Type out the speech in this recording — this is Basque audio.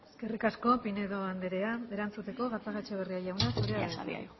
eskerrik asko pinedo anderea erantzuteko gatzagaetxebarria jauna